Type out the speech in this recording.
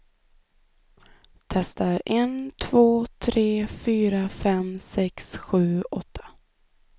Testar en två tre fyra fem sex sju åtta.